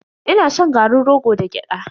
Ina shan garin rogo da gyada.